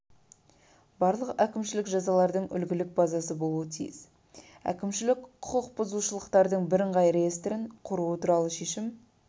барлық әкімшілік жазалардың үлгілік базасы болуы тиіс әкімшілік құқық бұзушылықтардың бірыңғай реестрін құру туралы шешім